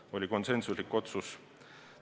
See oli konsensuslik otsus.